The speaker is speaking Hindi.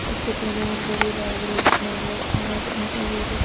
इस चित्र में एक बड़ी बैग नजर आ रही बड़ी--